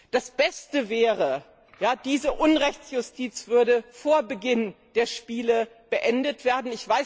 Das Beste wäre, diese Unrechtsjustiz würde vor Beginn der Spiele beendet werden.